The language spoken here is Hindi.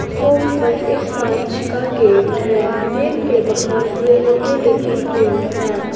शॉप पर एक कांच का गेट है गेट के बाहर रेलिंगे लगी हुई है।